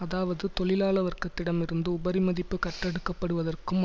அதாவது தொழிலாள வர்க்கத்திடமிருந்து உபரிமதிப்பு கறந்தெடுக்கப்படுவதற்கும்